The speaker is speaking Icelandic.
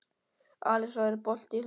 Alisa, er bolti á fimmtudaginn?